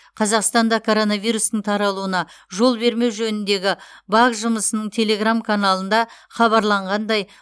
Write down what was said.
қазақстанда коронавирустың таралуына жол бермеу жөніндегі вак жұмысының телеграм каналында хабарланғандай